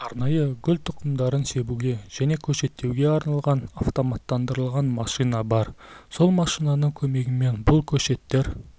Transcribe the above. арнайы гүл тұқымдарын себуге және көшеттеуге арналған автоматтандырылған машина бар сол машинаның көмегімен бұл көшеттер